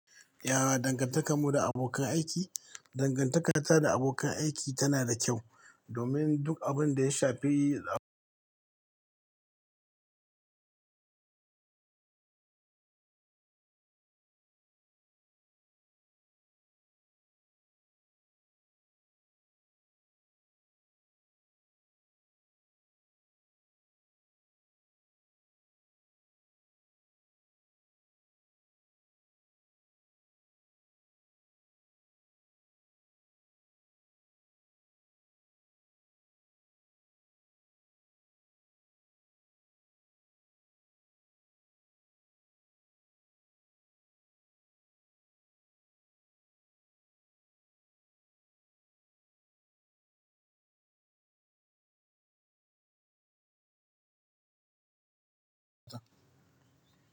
Yara, dangantakar mu da abokan aiki, dangantaka ta da abokan aiki tana da kyau domin duk abin da ya shafi.